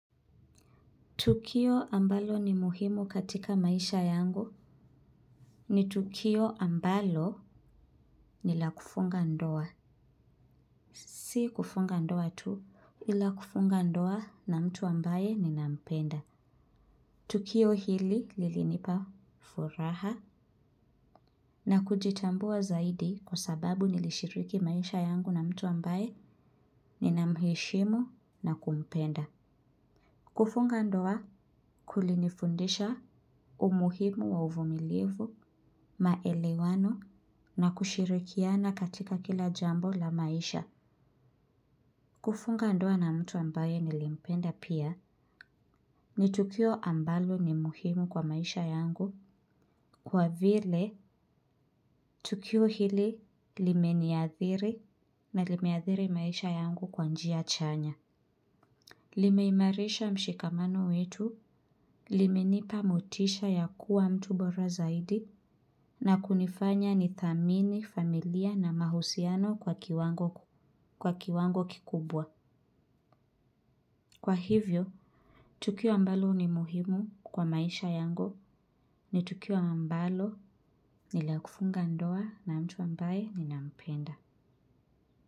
Tukio ambalo ni muhimu katika maisha yangu ni tukio ambalo ni la kufunga ndoa. Si kufunga ndoa tu, ila kufunga ndoa na mtu ambaye ninampenda. Tukio hili lilinipa furaha na kujitambua zaidi kwa sababu nilishiriki maisha yangu na mtu ambaye ninamheshimu na kumpenda. Kufunga ndoa kulinifundisha umuhimu wa uvumilivu, maelewano na kushirikiana katika kila jambo la maisha. Kufunga ndoa na mtu ambaye nilimpenda pia ni tukio ambalo ni muhimu kwa maisha yangu kwa vile tukio hili limeniathiri na limeathiri maisha yangu kwa njia chanya. Limeimarisha mshikamano wetu, limenipa motisha ya kuwa mtu bora zaidi na kunifanya nithamini familia na mahusiano kwa kiwango kikubwa. Kwa hivyo, tukio mbalo ni muhimu kwa maisha yangu ni tukio mbalo ni la kufunga ndoa na mtu ambaye ninampenda.